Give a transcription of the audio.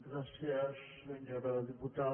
gràcies senyora diputada